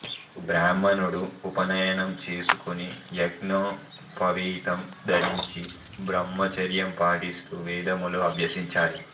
బ్రాహ్మణుడు ఉపనయనం చేసుకుని యజ్ఞోపవీతం ధరించి బ్రహ్మచర్యం పాటిస్తూ వేదములు అభ్యసించాలి